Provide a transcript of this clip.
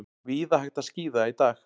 Víða hægt að skíða í dag